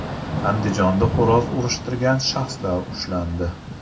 Andijonda xo‘roz urishtirgan shaxslar ushlandi.